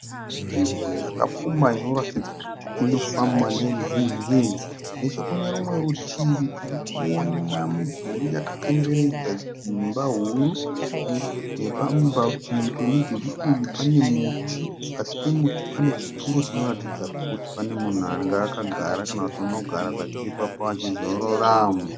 Nzvimbo yakapfumba inoratidza kuti inofamba neruzhinji. Nechekune rumwe rutivi tiri kuona midhuri yakakomberedza dzimba huru. Nepamwe parutivi pemudhuri uyu pane muti. Pasi pemuti pane chituru chinoratidza kuti pane munhu anga akagara kana kuti unogara zvake ipapo achizorora.